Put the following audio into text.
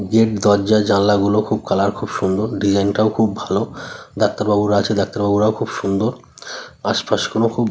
Gate দরজা-জানলা গুলো খুব কালার খুব সুন্দর ডিজাইন টাও খুব ভালো । ডাক্তার বাবুরা আছে ডাক্তার বাবুরাও খুব সুন্দর আশপাশ কোন খুব--